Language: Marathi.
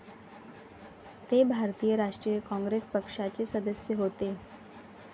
ते भारतीय राष्ट्रीय काँग्रेस पक्षाचे सदस्य होते.